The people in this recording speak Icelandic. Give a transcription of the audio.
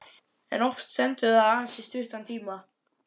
En oft stendur það aðeins í stuttan tíma.